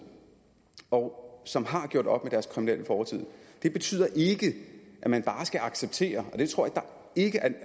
og som har gjort op med deres kriminelle fortid det betyder ikke at man bare skal acceptere det tror jeg ikke